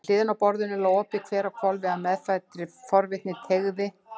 Við hliðina á borðinu lá opið kver á hvolfi, af meðfæddri forvitni teygði